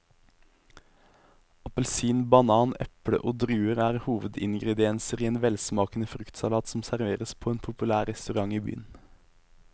Appelsin, banan, eple og druer er hovedingredienser i en velsmakende fruktsalat som serveres på en populær restaurant i byen.